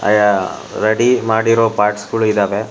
ಆಯಾ ರೆಡಿ ಮಾಡಿರೋ ಪಾರ್ಟ್ಸ್ ಗಳೂ ಇದಾವೆ.